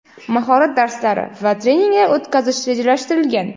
mahorat darslari va treninglar o‘tkazish rejalashtirilgan.